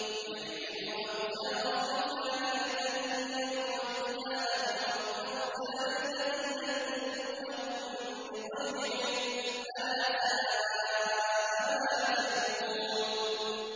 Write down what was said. لِيَحْمِلُوا أَوْزَارَهُمْ كَامِلَةً يَوْمَ الْقِيَامَةِ ۙ وَمِنْ أَوْزَارِ الَّذِينَ يُضِلُّونَهُم بِغَيْرِ عِلْمٍ ۗ أَلَا سَاءَ مَا يَزِرُونَ